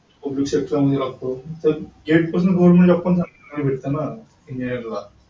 sector मध्ये लागतो